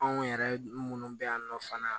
Anw yɛrɛ minnu bɛ yan nɔ fana